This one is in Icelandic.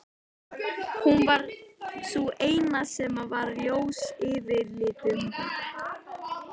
Hún var sú eina sem var ljós yfirlitum.